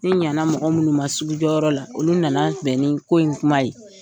Ni ɲana mɔgɔ minnu ma sugu jɔyɔrɔ la olu nana bɛn ni ko in kuma ye.